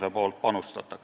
sellesse panustab.